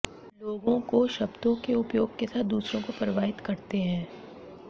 लोगों को शब्दों के उपयोग के साथ दूसरों को प्रभावित करते हैं